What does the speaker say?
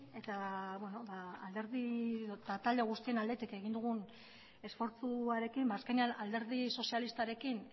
eta talde guztien aldetik egin dugun esfortzuarekin azkenean alderdi sozialistarekin